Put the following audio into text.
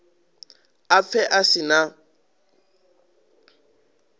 a pfe a si na